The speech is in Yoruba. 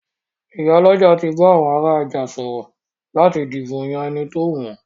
Ìyálọ́jà ti bá àwọn ará ọjà sọ̀rọ̀ láti dìbò yán ẹni tówù wọn.